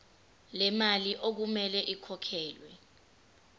lemali okumele ikhokhelwe